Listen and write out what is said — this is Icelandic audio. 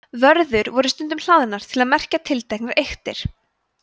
vörður voru stundum hlaðnar til að merkja tilteknar eyktir